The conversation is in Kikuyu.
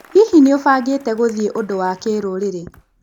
Hihi nĩ ũbangĩte gũthiĩ ũndũ wa kĩrũrĩrĩ?